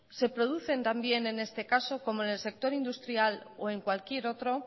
se producen también en este caso como en el sector industrial o en cualquier otro